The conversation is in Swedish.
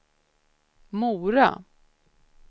Mora